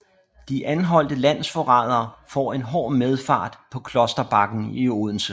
De anholdte landsforrædere får en hård medfart på Klosterbakken i Odense